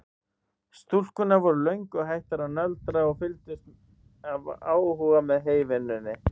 Stúlkurnar voru löngu hættar að nöldra og fylgdust af áhuga með heyvinnunni.